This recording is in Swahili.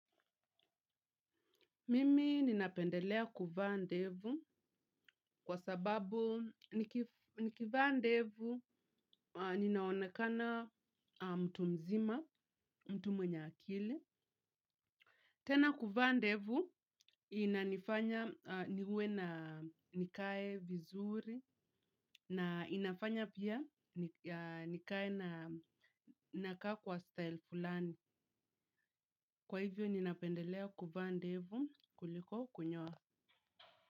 Mimi ninapendelea kuvaa ndevu kwa sababu nikivaa ndevu ninaonekana mtu mzima, mtu mwenye akili. Tena kuvaa ndevu inanifanya niwe na nikae vizuri na inafanya pia nikae na nakaa kwa style fulani. Kwa hivyo ninapendelea kuvaa ndevu kuliko kunyoa.